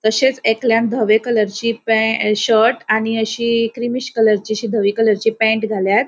तशेच एकल्यान धवि कलरची प्या शर्ट आणि अशी क्रीमिष कलरची अशी धवी कलरची पैन्ट घाल्या.